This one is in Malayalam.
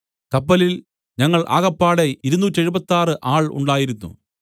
കപ്പലിൽ ഞങ്ങൾ ആകപ്പാടെ ഇരുനൂറ്റെഴുപത്താറ് ആൾ ഉണ്ടായിരുന്നു